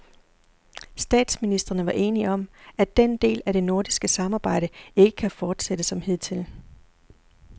Statsministrene var enige om, at den del af det nordiske samarbejde ikke kan fortsætte som hidtil.